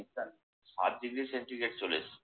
শীতকাল ষাট degree centigrade চলে এসছে।